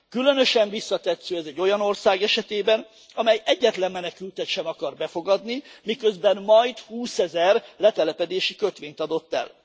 Különösen visszatetsző ez egy olyan ország esetében, amely egyetlen menekültet sem akar befogadni, miközben majd húszezer letelepedési kötvényt adott el.